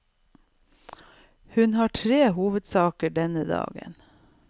Hun har tre hovedsaker denne dagen.